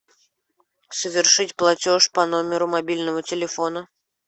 совершить платеж по номеру мобильного телефона